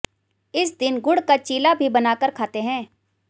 इस दिन गुड़ का चीला भी बनाकर खाते हैं